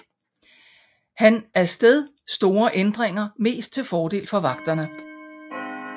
Han af sted store ændringer mest til fordel for vagterne